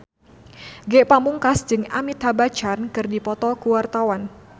Ge Pamungkas jeung Amitabh Bachchan keur dipoto ku wartawan